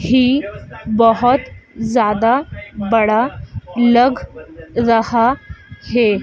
ही बहोत ज्यादा बड़ा लग रहा है।